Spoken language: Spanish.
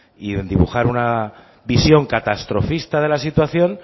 y en dibujar una visión catastrofista de la situación